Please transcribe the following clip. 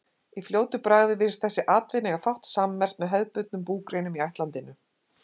Í fljótu bragði virðist þessi atvinna eiga fátt sammerkt með hefðbundnum búgreinum í ættlandinu.